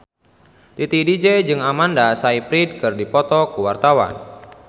Titi DJ jeung Amanda Sayfried keur dipoto ku wartawan